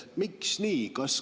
Miks nii?